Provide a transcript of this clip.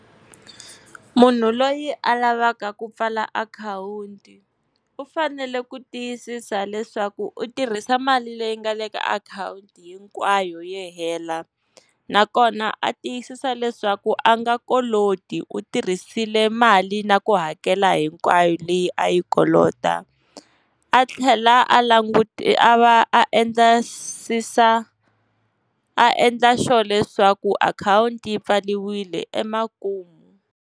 Munhu loyi a lavaka ku pfala akhawunti u fanele ku tiyisisa leswaku u tirhisa mali leyi nga le ka akhawunti hinkwayo yi hela, nakona a tiyisisa leswaku a nga koloti u tirhisile mali na ku hakela hinkwayo leyi a yi kolota. A tlhela a a va a endla a endla sure leswaku akhawunti yi pfariwile emakumu.